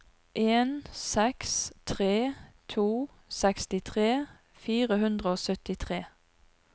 en seks tre to sekstitre fire hundre og syttitre